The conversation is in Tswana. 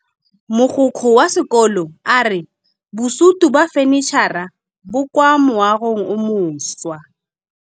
Mogokgo wa sekolo a re bosutô ba fanitšhara bo kwa moagong o mošwa.